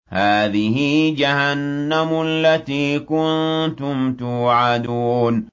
هَٰذِهِ جَهَنَّمُ الَّتِي كُنتُمْ تُوعَدُونَ